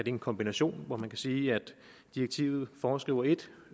en kombination hvor man kan sige at direktivet foreskriver et